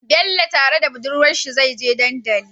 Bello tare da budurwar sa zai je dandali